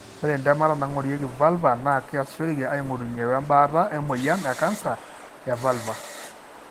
ore intemata naingorieki vulva na kiasishoreki aingorunye we mbaata e moyian ecanser e vulva .